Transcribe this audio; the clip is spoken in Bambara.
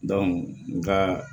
nga